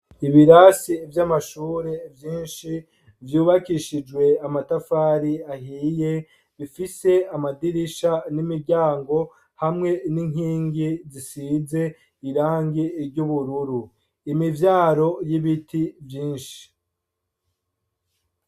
Ibirasi vy'amashure menshi vyubakishijwe amatafari ahiye bifise amadirisha n'imiryango hamwe n'inkingi zisize irangi ry'ubururu, imivyaro y'ibiti vyinshi